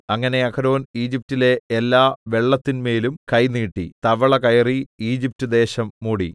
അങ്ങനെ അഹരോൻ ഈജിപ്റ്റിലെ എല്ലാ വെള്ളത്തിൻമേലും കൈ നീട്ടി തവള കയറി ഈജിപ്റ്റ് ദേശം മൂടി